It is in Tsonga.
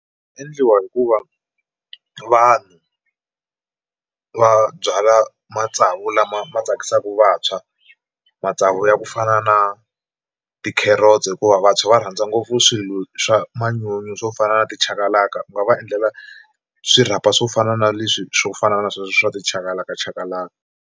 Endliwa hi ku va vanhu va byala matsavu lama ma tsakisaka vantshwa matsavu ya ku fana na tikherotsi hikuva vantshwa va rhandza ngopfu swilo swa manyunyu swo fana na tichakalaka va va endlela swirhapa swo fana na leswi swo fana na sweswo swa tichakalakachakalaka.